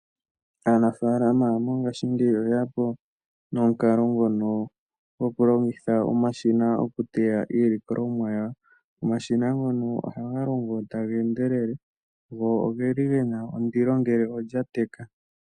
Aanafalama mongashingeyi oye ya po nomukalo ngono gokulongitha omashina okuteya iilikolomwa yawo. Omashina ngono ohaga longo tage endelele. Go oge li ge na ondilo ngele olya teka.